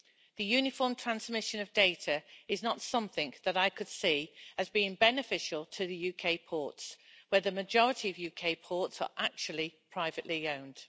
The uniform transmission of data is not something that I could see as being beneficial to the UK ports, where the majority of UK ports are actually privately owned.